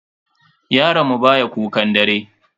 Yaron mu baya kukan dare.